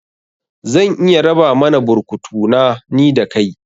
Zan iya raba mana burkutu na, ni da kai